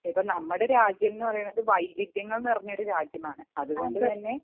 ഇപ്പം നമ്മുടെ രാജ്യം എന്ന് പറഞ്ഞാൽ വൈവിധ്യം നിറഞ്ഞ ഒരു രാജ്യമാണ് അതുകൊണ്ട് തന്നെ